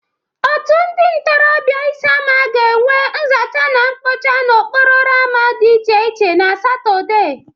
Otu ndị ntorọbịa Isiama ga-enwe nzacha na mpocha n'okoporo ama dị iche iche na Satọde.